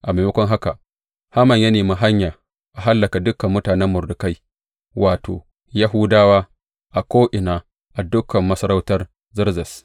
A maimakon haka, Haman ya nemi hanya a hallaka dukan mutanen Mordekai, wato, Yahudawa, a ko’ina a dukan masarautar Zerzes.